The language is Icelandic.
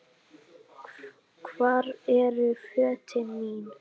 Hvar eru fötin mín?